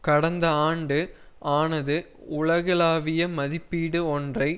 கடந்த ஆண்டு ஆனது உலகளாவிய மதிப்பீடு ஒன்றை